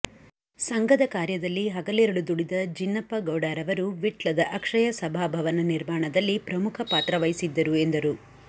ಸಂಘದ ಕಾರ್ಯದಲ್ಲಿ ಹಗಲಿರುಲು ದುಡಿದ ಜಿನ್ನಪ್ಪ ಗೌಡರವರು ವಿಟ್ಲದ ಅಕ್ಷಯ ಸಭಾ ಭವನ ನಿರ್ಮಾಣದಲ್ಲಿ ಪ್ರಮುಖ ಪಾತ್ರವಹಿಸಿದ್ದರು ಎಂದರು